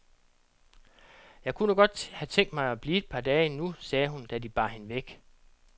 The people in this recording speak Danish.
Jeg kunne nu godt have tænkt mig at blive et par dage endnu, sagde hun, da de bar hende væk.